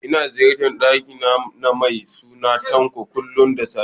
Ina ziyartar ƙani na mai suna Tanko, kullum da safe